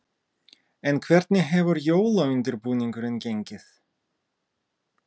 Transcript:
En hvernig hefur jólaundirbúningurinn gengið?